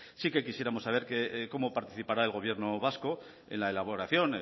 pues sí que quisiéramos saber cómo participará el gobierno vasco en la elaboración